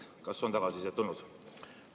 Kas on tagasisidet tulnud?